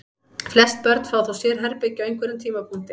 Flest börn fá þó sérherbergi á einhverjum tímapunkti.